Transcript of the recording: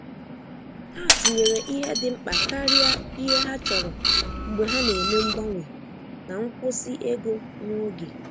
Ha tinyere ihe dị mkpa karịa ihe ha chọrọ mgbe ha na-eme mgbanwe na nkwụsị ego nwa oge.